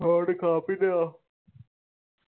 ਹੋਰ ਖਾ ਪੀ ਲਿਆ?